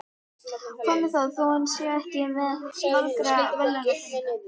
Hvað með það þó hann sé ekki með marga verðlaunapeninga?